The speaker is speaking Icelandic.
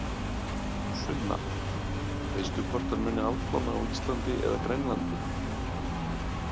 Sunna: Veistu hvort hann muni afplána á Íslandi eða Grænlandi?